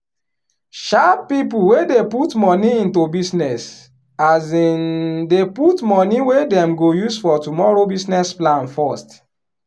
sharp people wey dey put money into business um dey put money wey dem go use for tomorrow business plan first